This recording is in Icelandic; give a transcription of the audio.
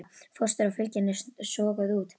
Fóstrið og fylgjan eru soguð út.